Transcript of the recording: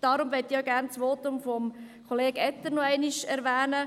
Darum möchte ich auch das Votum von Kollege Etter noch einmal erwähnen.